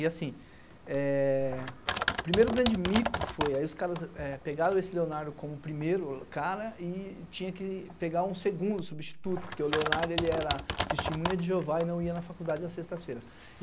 E assim, eh o primeiro grande mico foi, aí os caras é pegaram esse Leonardo como o primeiro cara e tinha que pegar um segundo substituto, porque o Leonardo, ele era testemunha de Jeová e não ia na faculdade às sextas-feiras.